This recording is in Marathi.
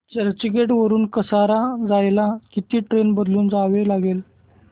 चर्चगेट वरून कसारा जायला किती ट्रेन बदलून जावे लागेल